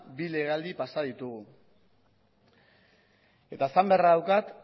bi legealdi pasa ditugu eta esan beharra daukat